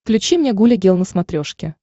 включи мне гуля гел на смотрешке